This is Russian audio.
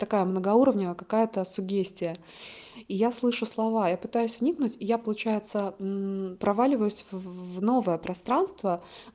такая многоуровневая какая-то суггестия и я слышу слова я пытаюсь вникнуть и я получается проваливаюсь в новое пространство